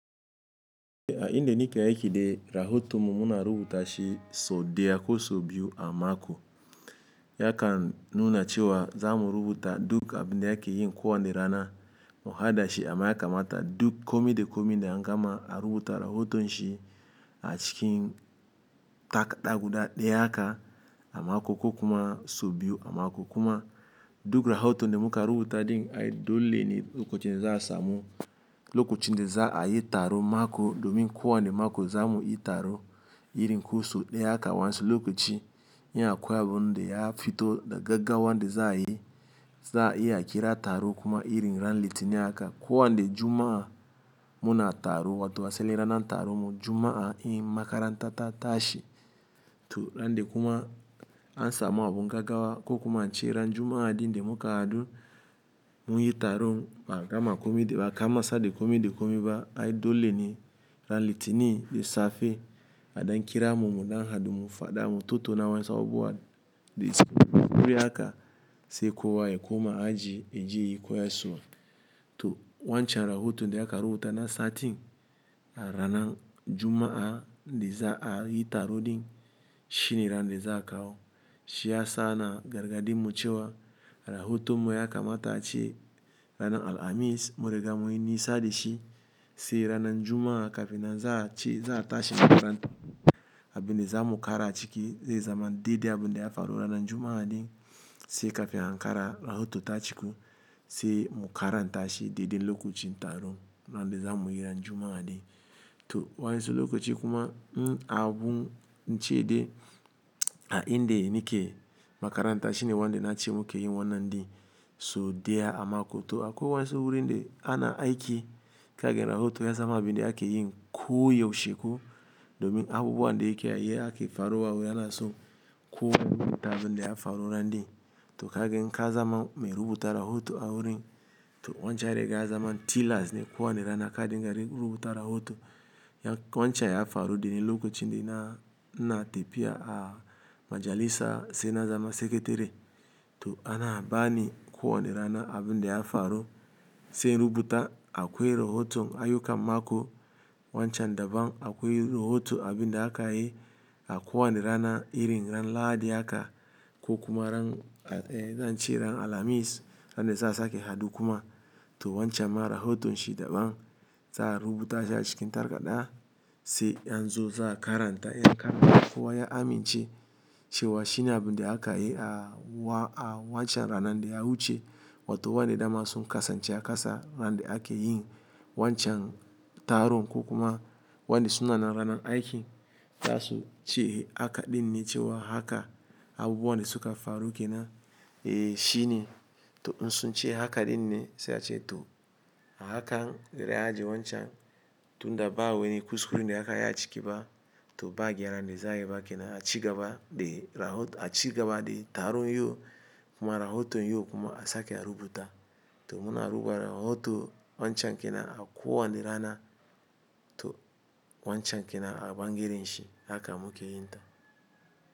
A inda nake aiki dai rahoto muna rubuta shi so deya ko so biyu a mako. Yakan nuna cewa za mu rubuta duk abin da ake yin kowa ne rana. Muhadashi amma ya kamata duk kome da kome da an gama a rubuta rahoton shi a cikin takarda guda ɗaya haka a mako ko kuma so biyu a mako kuma duk rahoton da muka rubuta ɗin ai dole ne lokacin da za a samu lokacin da za a yi taro mako domin kowa ne mako za mu yi taro irin ko sau ɗaya haka wa'yansu lokaci. In akwai abuda ya fito da gaggawa da za a yi, za'a iya a kira taro kuma irin ran litinin aka kowa ne juma'a muna taro wato asalin ranar taron mu juma'a in makaranta ta tashi. To ran de kuma an samu abun gaggawa ko kuma an ce ran juma'a din da muka haɗu mun yi taro ba gama kome da ba karasa da kome da kome ba ai dole ne ran litinin da safe a ɗan kiramu mu ɗan hadu mu faɗa mu tattauna wa'yansu abu wa de ɗi. Wuri aka sai kuwa ya koma aji ya je ya koyaswa. To wancan rahoto da aka rubuta na satin a rana juma'a da za a yi taro din shine ran da za a kawo. Shi yasa ana gargaɗi mu cewa rahoto mu ya kamata a ce ranan alhamis. Mun riga mun yi nisa da shi sai ranan juma'a kafin an za a ce za a tashi makaranta abin da za mu kara a ciki zai zama dai dai abun da ya faru ranan juma'a din sai kafin an kara rahoto ta ciku sai mu karan tashi daidai lokacin taron ran da za mu yi ran juma'a din. To wansi lokaci kuma in abu ince de a inde ni ke makaranta shine wan da na ce muke yin wannan din so deya a mako. To akwai wansi wurin da ana aiki kage rahoto ya zama abin da ake yin ko yaushe ko domin abubuwan da yake a yi ake faruwa a wurin ana so kowa ya rubuta abin da ya faru ran din. To kage n ka zama mai rubuta rahoto a wurin to wancan ya riga ya zama tilas ne kowa ne rana ka dinga yi rubuta rahoto. Ya wancan ya faru dane lokacin da na ina tefiya a majalisa sai na zama sekiteri. To ana bani kowa ne rana abin da ya faru sai in rubuta akwai rahoton ayyukan mako wancan daban akwai rahoto abin da aka yi a kowa ne rana irin ran lahadi haka ko kuma ran zan ce ran alhamis ran da za sake haɗu kuma. To wancan ma rahoton shi daban za a rubuta shi a cikin takarda sai an zo za karanta yan karanta kowa ya amince cewa shi ne abin da aka yi a wa a wancan ranan da ya wuce. Wato wa'yanda da daman sun kasance a kasa ran da ake yin wancan taron ko kuma wa'yanda suna nan ranan aiki za su ce haka din ne cewa haka abubuwan da suka faru ke nan eh shi ne. To in sun ce haka din ne sai a ce to a hakan bari a ajje wancan tun da ba weni kuskure da aka yi a ciki ba to ba gyaran da za a yi ba ke nan a cigaba de rahoto a cigaba de taron yau kuma rahoto yau kuma a sake a rubuta. To muna rubuta rahoto wancan ke nan a kowa ne rana to wancan ke nan a bangaren shi haka muke yin ta.